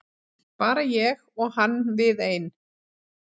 Bara ég og hann við ein.